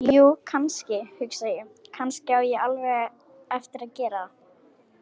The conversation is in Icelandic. Jú, kannski, hugsa ég: Kannski á ég alveg eftir að gera það.